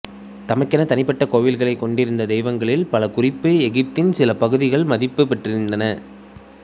தமக்கெனத் தனிப்பட்ட கோவில்களை கொண்டிருந்த தெய்வங்களில் பல குறிப்பாக எகிப்தின் சில பகுதிகளில் மதிப்பு பெற்றிருந்தன